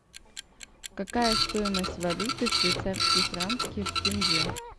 какая стоимость валюты швейцарские франки в тенге